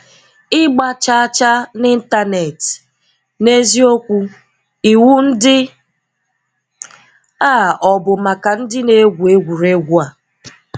Ịgba chaa chaa n'Ịntanet - n'eziokwu, iwu ndị a ọ bụ maka ndị na-egwú egwuregwu a?